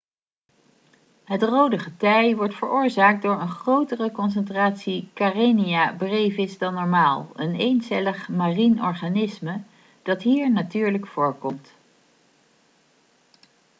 het rode getij wordt veroorzaakt door een grotere concentratie karenia brevis dan normaal een eencellig marien organisme dat hier natuurlijk voorkomt